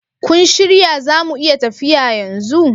Kun shirya zamu iya tafiya yanzu?